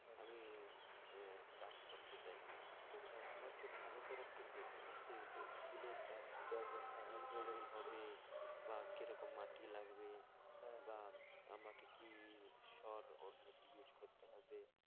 আহ চাষ করতে চাই তো আমাকে ভালো করে একটু বোঝাবেন যে ফুলের চাষ কি ভাবে হবে বলে দিচ্ছি বা কিরকম মাটি লাগবে? হ্যাঁ হ্যাঁ বা আমাকে কি সর করতে হবে?